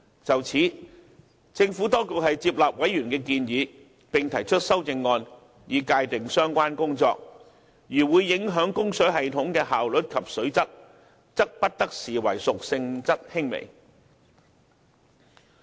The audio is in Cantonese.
就此，政府當局接納委員的建議，並提出修正案，以界定相關工作，如會影響供水系統的效率及水質，則不得視為屬性質輕微。